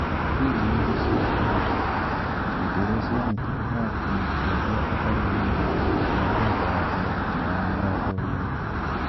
Injini nĩ ciahorire , hĩndĩ ĩrĩa cianyitire mwaki na ikĩambia kũhorio na maĩ kuma dagĩka ya mbele nginya ya mĩrongo ĩrĩ